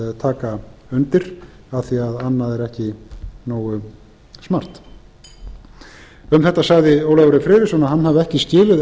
taka undir af því að annað er ekki nógu smart um þetta sagði ólafur e friðriksson að